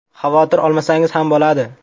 Xavotir olmasangiz ham bo‘ladi.